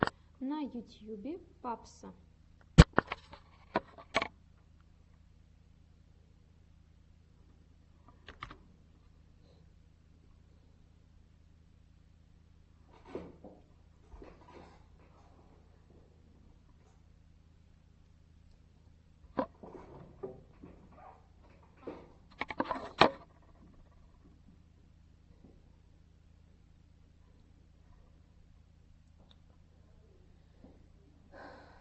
на ютьюбе папсо